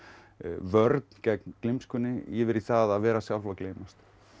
vörn gegn yfir í það að vera sjálf að gleymast